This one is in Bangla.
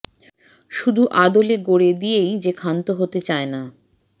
শুধু আদলে গড়ে দিয়েই যে ক্ষান্ত হতে চায় না